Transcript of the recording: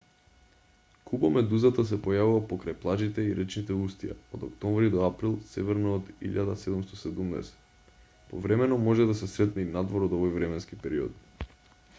кубомедузата се појавува покрај плажите и речните устија од октомври до април северно од 1770 повремено може да се сретне и надвор од овој временски период